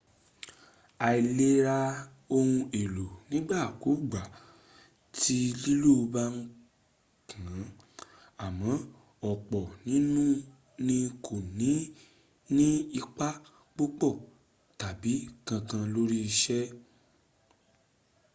a lè ra ohun èlò nígbàkúgbà tí lílò bá kàn án àmọ́ ọ̀pọ̀ ní kò ní ní ipa púpò tàbí kankan lóri ìsé